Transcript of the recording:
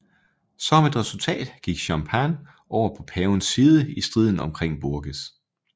Som et resultat gik Champagne over på pavens side i striden omkring Bourges